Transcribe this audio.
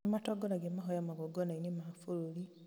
nĩmatongoragia mahoya magongonainĩ ma bũrũri